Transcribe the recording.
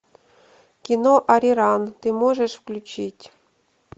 кино ариран ты можешь включить